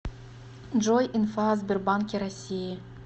джой инфа о сбербанке россии